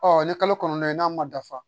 Ɔ ni kalo kɔnɔntɔn in n'a ma dafa